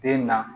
Den na